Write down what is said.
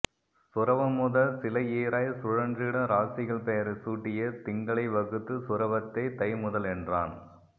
சுறவம்முதல் சிலைஈறாய்ச் சுழன்றிடும் ராசிகள் பெயரைச் சூட்டியே திங்களை வகுத்துச் சுறவத்தைத் தைமுதலென்றான்